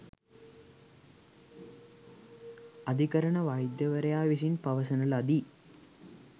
අධිකරණ වෛද්‍යවරයා විසින් පවසන ලදී